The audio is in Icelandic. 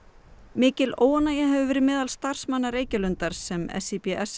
mikil óánægja hefur verið meðal starfsmanna Reykjalundar sem